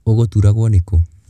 Ũgũturagwũ nĩ kũũ.